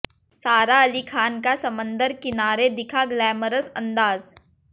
सारा अली खान का समंदर किनारे दिखा ग्लैमरस अंदाज